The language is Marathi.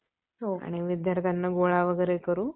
आणि विद्यार्थ्यांना गोळा वगैरे करू